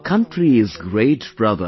Our country is great brother